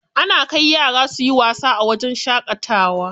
Ana kai yara suyi wasa a wajen shaƙatawa.